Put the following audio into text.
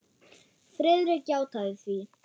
Friðrik játaði því.